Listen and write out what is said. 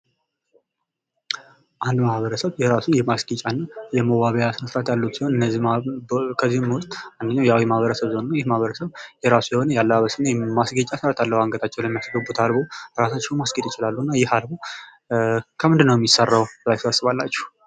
አንድ ማህበረሰብ የራሱ የማስጌጫና የመዋቢያ ስነ ስርዓት ያለው ሲሆን ፤ ከነዚህም ውስጥ አንደኛው የአዊ ማህበረሰብ ዞን ነው። ይህ ማህበረሰብ የራሱ የሆነ ያለባበስና የማስጌጫ ስርአት አለው ፤ አንገታቸው ላይ የሚያስገቡት አልቦ ፤ ራሳቸውንም ማስጌጥ ይችላሉና ይህ አልቦ ከምንድን ነው የሚሰራው ብላችሁ ታስባላችሁ?